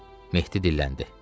Mehdi dilləndi.